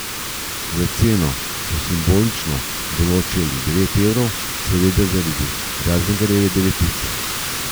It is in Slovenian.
Za ceno so simbolično določili devet evrov, seveda zaradi Razingarjeve devetice.